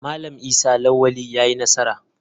Malam Isa lawali yayi nasara.